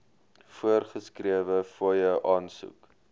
voorgeskrewe fooie aansoek